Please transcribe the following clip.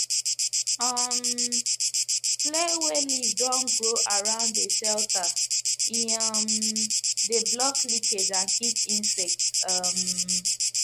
um clear wey leaf don grow around de shelter e um de block leakage and keep insects um